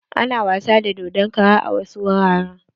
Ana wasa da dodon kara a wasu wuraren.